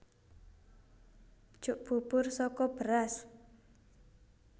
Jok bubur saka beras